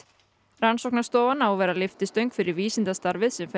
rannsóknarstofan á að vera lyftistöng fyrir vísindastarfið sem